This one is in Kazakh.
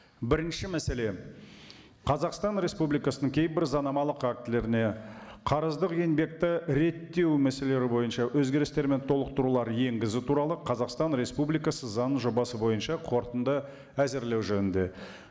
бірінші мәселе қазақстан республикасының кейбір заңнамалық актілеріне қарыздық еңбекті реттеу мәселелері бойынша өзгерістер мен толықтырулар енгізу туралы қазақстан республикасы заң жобасы бойынша қорытынды әзірлеу жөнінде